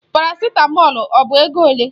Parasitamọlu ọ bụ ego ole?